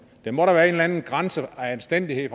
der må da eller anden grænse og anstændighed